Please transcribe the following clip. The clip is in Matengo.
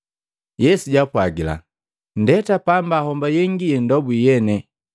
Yesu jaapwagila, “Nndeeta pamba homba yengi yendobwi yene.”